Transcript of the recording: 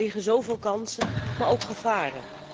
Er liggen zoveel kansen, maar ook gevaren.